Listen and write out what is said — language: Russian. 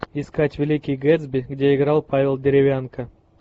искать великий гэтсби где играл павел деревянко